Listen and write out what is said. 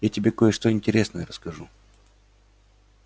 я тебе кое-что интересное расскажу